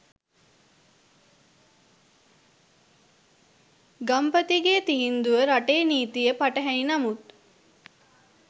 ගම්පතිගේ තීන්දුව රටේ නීතියට පටහැණි නමුත්